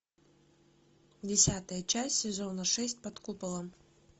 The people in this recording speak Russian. десятая часть сезона шесть под куполом